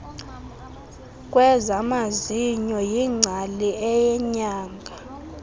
kwezamazinyo yingcali eyanga